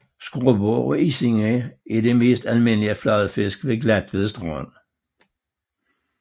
Skrubber og isinger er de mest almindelige fladfisk ved Glatved Strand